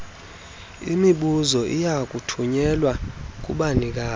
lwemibuzo liyakuthunyelwa kubanikazi